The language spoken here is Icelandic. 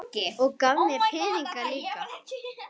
Og gaf mér peninga líka.